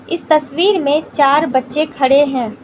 इस तस्वीर में चार बच्चे खड़े हैं।